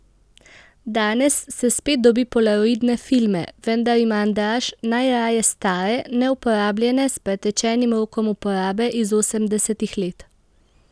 Danes se spet dobi polaroidne filme, vendar ima Andraž najraje stare, neuporabljene s pretečenim rokom uporabe iz osemdesetih let.